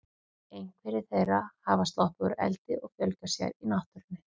Einhverjar þeirra hafa sloppið úr eldi og fjölgað sér í náttúrunni.